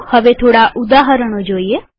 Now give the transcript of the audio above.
હવે આપણે થોડા ઉદાહરણો જોઈએ